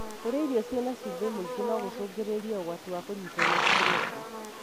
Kũria irio cĩina cumbi mwingi nogũcungirire ũgwati wa kũnyitwo nĩ stroke.